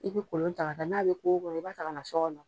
I be kolon ta ka taa n'a be kogo kɔrɔ i 'b'a ta ka na so kɔnɔ